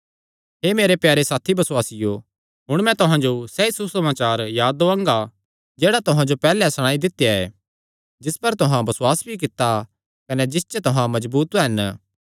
हे मेरे प्यारे साथी बसुआसियो हुण मैं तुहां जो सैई सुसमाचार याद दुआंदा ऐ जेह्ड़ा तुहां जो पैहल्लैं सणाई दित्या ऐ जिस पर तुहां बसुआस भी कित्ता कने जिस च तुहां मजबूत हन